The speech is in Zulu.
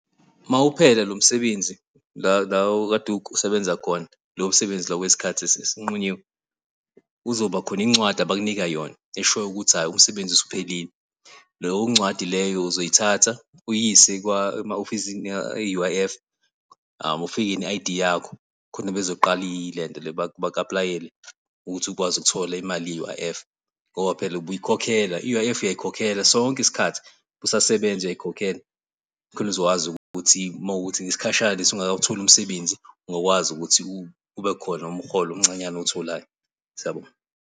Mawuphela lo msebenzi, la la okade usebenza khona lowo msebenzi lo wesikhathi esinqunyiwe. Kuzobakhona incwadi abakunika yona eshoyo ukuthi hhayi umsebenzi usuphelile. Leyo ncwadi leyo uzoyithatha uyise ema-ofisini e-U_I_F, ufike ne-I_D yakho khona bezoqala ilento le baku-apulayele ukuthi ukwazi ukuthola imali i-U_I_F ngoba phela ubuyikhokhela i-U_I_F uyayikhokhela sonke isikhathi usasebenza uyayikhokhela, khona uzokwazi ukuthi uma kuwukuthi isikhashana lesi ungakawutholi umsebenzi ungakwazi ukuthi kube khona umholo omncanyana owutholayo. Siyabonga.